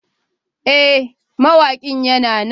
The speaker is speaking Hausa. Ee, mawaƙin yana nan.